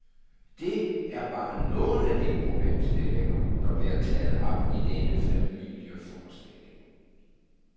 Det er bare nogle af de problemstillinger, der bliver taget op i denne familieforestilling.